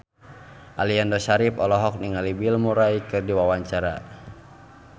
Aliando Syarif olohok ningali Bill Murray keur diwawancara